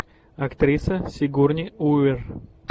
актриса сигурни уивер